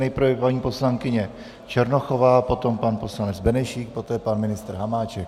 Nejprve paní poslankyně Černochová, potom pan poslanec Benešík, poté pan ministr Hamáček.